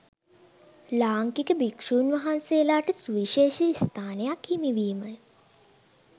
ලාංකික භික්‍ෂූන් වහන්සේලාට සුවිශේෂී ස්ථානයක් හිමිවීමය